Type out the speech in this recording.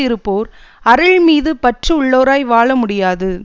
இருப்போர் அருள் மீது பற்று உள்ளவராய் வாழ முடியாது